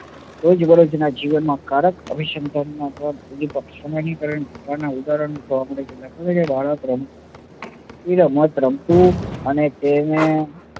રોજબરોજ ના જીવન માં કારક અભિસંધાન ના સામાજીકરણ થવાના ઉદાહરણ જોવા મળે છે દાખલા તરીકે બાળક રમકડું રમતું અને તેને